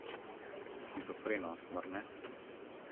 Shizofreno, mar ne?